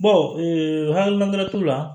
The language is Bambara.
hali t'o la